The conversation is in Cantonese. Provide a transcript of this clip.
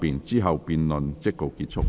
之後辯論即告結束。